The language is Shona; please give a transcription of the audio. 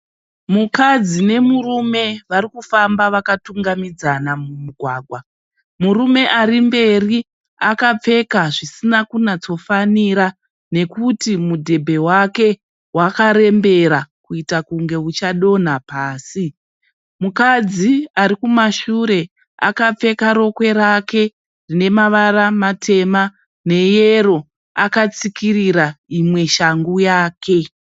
Mukadzi nemurume varikufamba vakatungamidzana mumugwagwa. Murume arimberi akapfeka zvisinakunatsofanira nekuti mudhebhe wake wakarembera kuita kunge uchadonha pasi. Mukadzi arikumashure akapfeka rokwe rake rinemavara matema neyero akatsikirira imwe shangu yake.